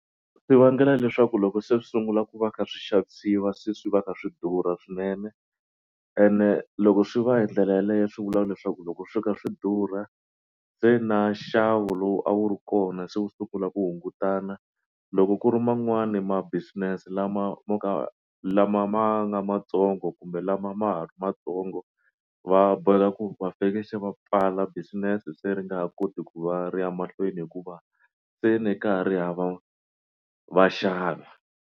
Swi vangela leswaku loko se swi sungula ku va kha swi xavisiwa se swi va kha swi durha swinene ene loko swi va hi ndlela yaleyo swi vula leswaku loko swi kha swi durha se na nxavo lowu a wu ri kona se wu sungula ku hungutana loko ku ri man'wani ma business lama mo ka lama ma nga matsongo kumbe lama ma ha ri matsongo va boheka ku va fanekele se va pfala business se ri nga ha koti ku va ri ya mahlweni hikuva se ni kahari hava vaxavi.